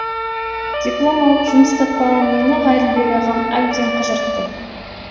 диплом алып жұмыс таппаған мені ғаділбек ағам әбден қыжыртты